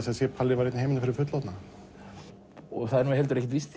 að það sé Palli var einn í heiminum fyrir fullorðna það er ekkert víst